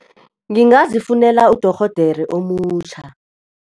Ngingazifunela udorhodere omutjha.